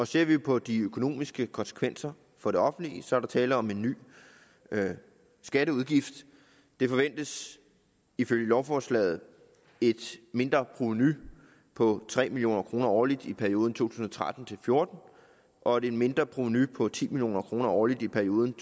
ser vi på de økonomiske konsekvenser for det offentlige der er tale om en ny skatteudgift der forventes ifølge lovforslaget et mindre provenu på tre million kroner årligt i perioden to tusind og tretten til fjorten og et mindre provenu på ti million kroner årligt i perioden